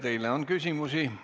Teile on küsimusi.